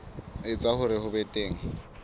etsa hore ho be teng